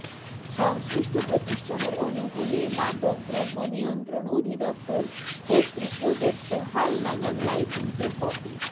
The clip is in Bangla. সংশ্লিষ্ট প্রতিষ্ঠানের অনুকূলে মাদকদ্রব্য নিয়ন্ত্রণ অধিদপ্তর কর্তৃক প্রদত্ত হালনাগাদ লাইসেন্স এর কপি